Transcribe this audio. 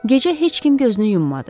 Gecə heç kim gözünü yummadı.